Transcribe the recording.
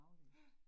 Ja